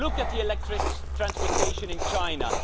Look at the electric transportation in China.